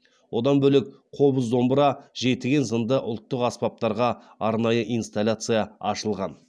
одан бөлек қобыз домбыра жетіген зынды ұлттық аспаптарға арнайы инсталляция ашылған